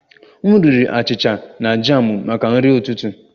M riri achịcha na jamụ maka nri ụtụtụ